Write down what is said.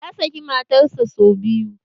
Ya saki matar sa sau biyu